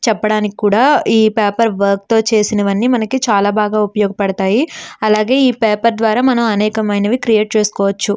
చెప్పడానికి కూడా ఈ పేపర్ వర్క్ తో చేసినవి చాలా మనకి చాలా ఉపయోగపడతాయి. అలాగే ఈ పేపర్ ద్వారా మనము అనేక రకమైన క్రియేట్ చేసుకోవచ్చు.